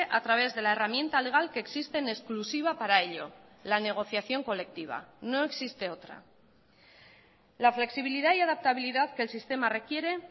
a través de la herramienta legal que existe en exclusiva para ello la negociación colectiva no existe otra la flexibilidad y adaptabilidad que el sistema requiere